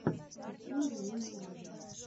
открой ранил марага